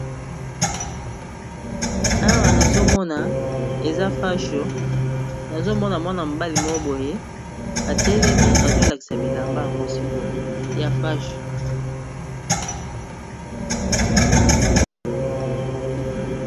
Awa nazomona eza pasho ,nazomona mwana mobali mo boye atelemi azolakisa bilamba yango sikoya pash.